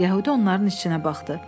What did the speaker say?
Yəhudi onların içinə baxdı.